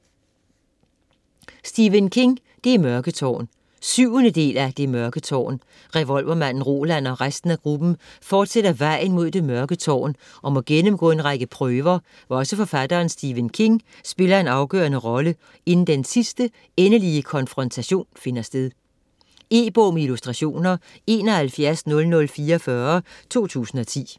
King, Stephen: Det mørke tårn 7. del af Det mørke tårn. Revolvermanden Roland og resten af gruppen fortsætter vejen mod det mørke tårn, og må gennemgå en række prøver, hvor også forfatteren Stephen King spiller en afgørende rolle, inden den sidste, endelige konfrontation finder sted. E-bog med illustrationer 710044 2010.